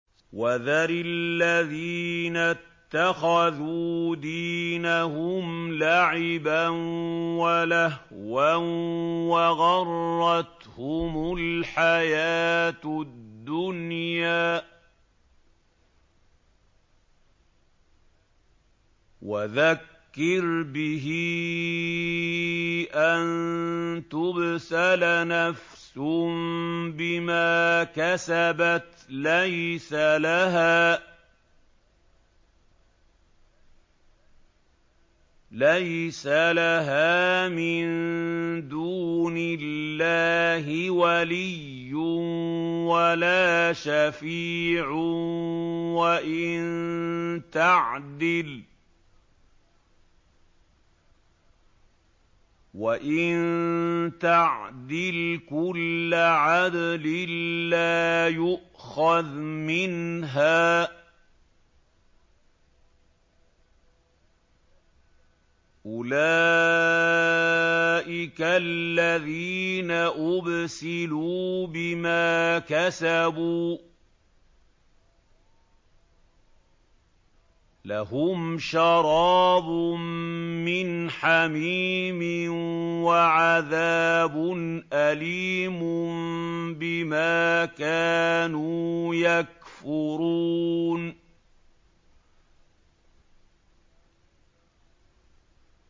وَذَرِ الَّذِينَ اتَّخَذُوا دِينَهُمْ لَعِبًا وَلَهْوًا وَغَرَّتْهُمُ الْحَيَاةُ الدُّنْيَا ۚ وَذَكِّرْ بِهِ أَن تُبْسَلَ نَفْسٌ بِمَا كَسَبَتْ لَيْسَ لَهَا مِن دُونِ اللَّهِ وَلِيٌّ وَلَا شَفِيعٌ وَإِن تَعْدِلْ كُلَّ عَدْلٍ لَّا يُؤْخَذْ مِنْهَا ۗ أُولَٰئِكَ الَّذِينَ أُبْسِلُوا بِمَا كَسَبُوا ۖ لَهُمْ شَرَابٌ مِّنْ حَمِيمٍ وَعَذَابٌ أَلِيمٌ بِمَا كَانُوا يَكْفُرُونَ